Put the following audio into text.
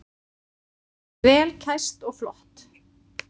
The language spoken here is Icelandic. Vel kæst og flott.